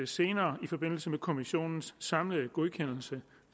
senere i forbindelse med kommissionens samlede godkendelse